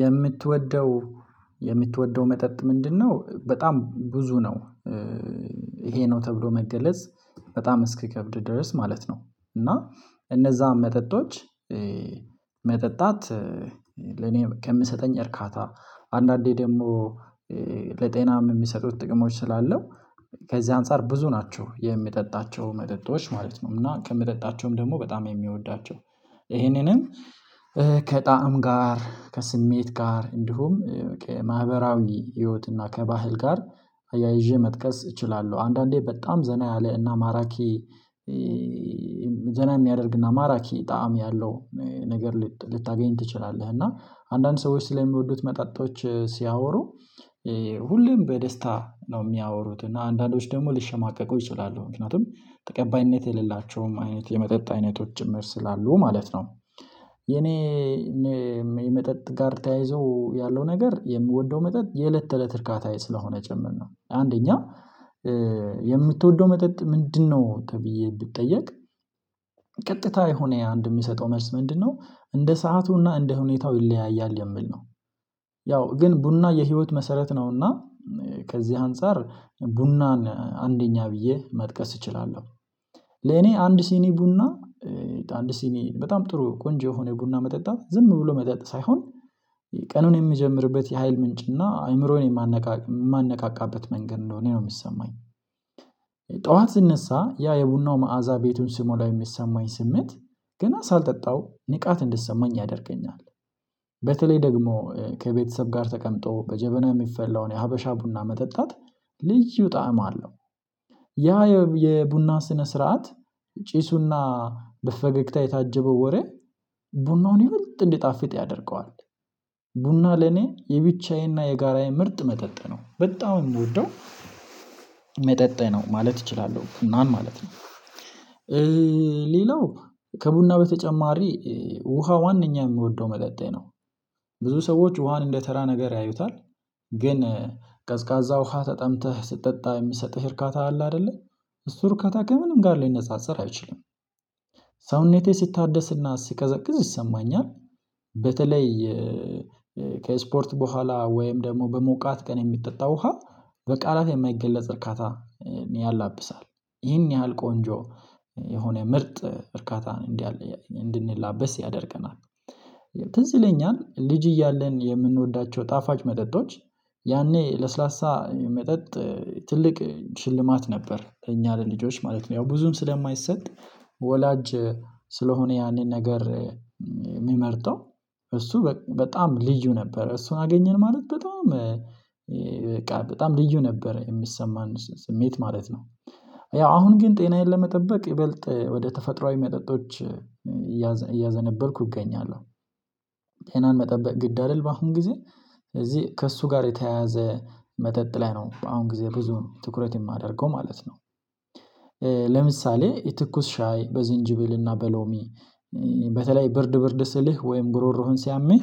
የምትወደው የምትወደው መጠጥ ምንድነው? በጣም ብዙ ነው ይሄ ነው ተብሎ መገለጽ በጣም እስክከብድ ድረስ ማለት ነው። እና እነዚያን መጠጦች መጠጣት ለእኔ ከምሰጠኝ እርካታ አንዳንዴ ደግሞ ለጤናም የሚሰጡት ጥቅሞች ስላለው ከዚህ አንፃር ብዙ ናቸው የሚጠጣቸው መጠጦች ማለት ነው። እና ከሚጠጣቸውም ደግሞ በጣም የሚወዳቸው ይሄንንም ከጣዕም ጋር ከስሜት ጋር እንዲሁም በቃ ማህበራዊ ህይወት እና ከባህል ጋር አያይዤ ይዤ መጥቀስ እችላለሁ አንዳንዴ በጣም ዘና ያለ እና ማራኪ ዘና የሚያደርግ እና ማራኪ ጣዕም ያለው ነገር ልታገኝ ትችላለህ። እና አንዳንድ ሰዎች ስለሚወዱት መጣጦች ሲያወሩ ሁሉም በደስታ ነው የሚያወሩት እና አንዳንዶች ደግሞ ሊሸማቀቁ ይችላሉ ምክንያቱም ተቀባይነት የሌላቸውም አይነት የመጠጥ አይነቶችም ስላሉ ማለት ነው። የኔ የመጠጥ ጋር ተያይዞ ያለው ነገር የምወደው መጠጥ የእለት ተእለት እርካታ ስለሆነ ጭምር ነው። አንደኛ የምትወደው መጠጥ ምንድነው? ተብዬ ብጠየቅ ቀጥታ የሆነ አንድ የሚሰጠው መልስ ምንድነው እንደ ሰአቱና እንደ ሁኔታው ይለያያል የሚል ነው። ያው ግን ቡና የህይወት መሰረት ነውና ከዚህ አንፃር ቡናን አንደኛ ብዬ መጥቀስ እችላለሁ። ለኔ አንድ ሲኒ ቡና አንድ ሲኒ በጣም ጥሩ ቆንጆ የሆነ ቡና መጠጣት ዝም ብሎ መጠጥ ሳይሆን ቀኑን የሚጀምርበት የሀይል ምንጭና አይምሮን የማነቃቃበት መንገድ እንደሆነ ነው የሚሰማኝ። ጠዋት ስነሳ ያ የቡናው መዓዛ ቤቱን ስሞላ የሚሰማኝ ስሜት ገና ሳልጠጣው ንቃት እንድትሰማኝ ያደርገኛል። በተለይ ደግሞ ከቤተሰብ ጋር ተቀምጦ በጀበነ የሚፈላውን የሀበሻ ቡና መጠጣት ልዩ ጣዕም አለው። ያ የቡና ስነ ስርዓት ጪሱና በፈገግታ የታጀበው ወሬ ቡናውን ይበልጥ እንዲጣፍጥ ቡና ለኔ የብቻዬና የጋራዬ ምርጥ መጠጣ ነው በጣም የምወደው መጠጥ ነው። ማለት እችላለሁ ቡናን ማለት ነው። ሌላው ከቡና በተጨማሪ ውሃ ዋናኛ የምወደው መጠጠኝ ነው። ብዙ ሰዎች ውሃን እንደተራ ነገር ያዩታል ግን ቀዝቃዛ ውሃ ተጠምተህ ስትጠጣ የሚሰጥህ እርካታ አለ አይደለ እሱ እርካታ ከምንም ጋር ሊነጻጸር አይችልም። ሳውነቴ ሲታደስና ሲቀዘቅዝ ይሰማኛል። በተለይ ከስፖርት በኋላ ወይም ደግሞ በሞቃት ቀን የሚጠጣ ውሃ በቃላት የማይገለጽ እርካታ ያላብሳል ይህን ያህል ቆንጆ የሆነ ምርጥ እርካታን እንደለ እንድንላበስ ያደርገናል። ትዝ ይለኛል ልጅ እያለን የምንወዳቸው ጣፋጭ መጠጦች ያኔ ለስላሳ መጠጥ ትልቅ ሽልማት ነበር ለኛ ለልጆች ማለት ነው ያው ብዙም ስለማይሰጥ ወላጅ ስለሆነ ያንን ነገር የሚመርጠው እሱ በጣም ልዩ ነበር እሱን አገኘን ማለት በጣም በቃ በጣም ልዩ ነበር የሚሰማን ስሜት ማለት ነው። ያው አሁን ግን ጤናዬን ለመጠበቅ ይበልጥ ወደ ተፈጥሮአዊ መጠጦች እያዘነበልኩ እገኛለሁ። ጤናን መጠበቅ ግድ አይደለም በአሁን ጊዜ ስለዚህ ከእሱ ጋር የተያያዘ መጠጥ ላይ ነው በአሁን ጊዜ ብዙ ነው ትኩረት የማደርገው ማለት ነው። ለምሳሌ ትኩስ ሻይ በዚንጅብልና በሎሚ በተለይ ብርድ ብርድ ስልህ ወይም ጉሮሮህን ሲያምህ